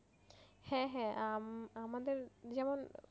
হ্যাঁ হ্যাঁ আহ আমাদের যেমন